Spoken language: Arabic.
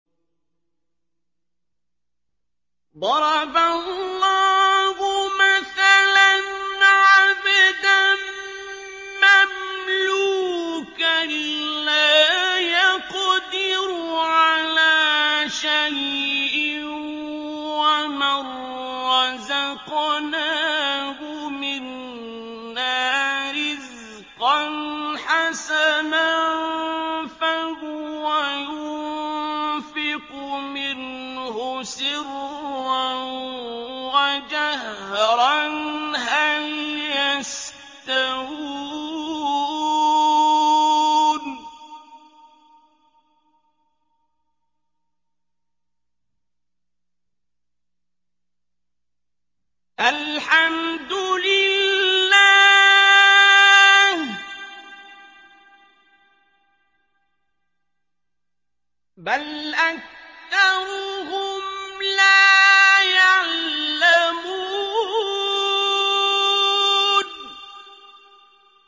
۞ ضَرَبَ اللَّهُ مَثَلًا عَبْدًا مَّمْلُوكًا لَّا يَقْدِرُ عَلَىٰ شَيْءٍ وَمَن رَّزَقْنَاهُ مِنَّا رِزْقًا حَسَنًا فَهُوَ يُنفِقُ مِنْهُ سِرًّا وَجَهْرًا ۖ هَلْ يَسْتَوُونَ ۚ الْحَمْدُ لِلَّهِ ۚ بَلْ أَكْثَرُهُمْ لَا يَعْلَمُونَ